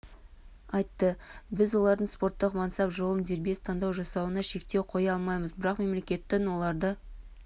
айтты біз олардың спорттық мансап жолын дербес таңдау жасауына шектеу қоя алмаймыз бірақ мемлекеттің оларды